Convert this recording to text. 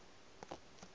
ba re o bolaong o